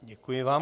Děkuji vám.